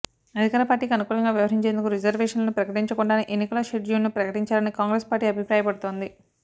అధికార పార్టీకి అనుకూలంగా వ్యవహరించేందుకు రిజర్వేషన్లు ప్రకటించకుండానే ఎన్నికల షెడ్యూల్ ను ప్రకటించారని కాంగ్రెస్ పార్టీ అభిప్రాయపడుతోంది